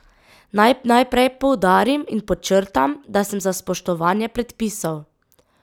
Naj najprej poudarim in podčrtam, da sem za spoštovanje predpisov.